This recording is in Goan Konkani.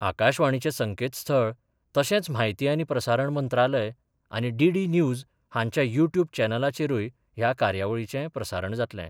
आकाशवाणीचे संकेतस्थळ तशेंच म्हायती आनी प्रसारण मंत्रालय, आनी डीडी न्यूज हांच्या युटयुब चॅनलाचेरुय ह्या कार्यावळीचे प्रसारण जातले.